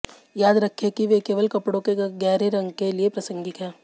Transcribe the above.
याद रखें कि वे केवल कपड़ों के गहरे रंग के लिए प्रासंगिक हैं